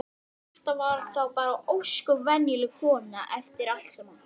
vaxinn rostung með kjúklingaleggi og hanakamb.